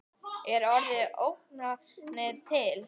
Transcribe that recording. Er orðið ógnanir til?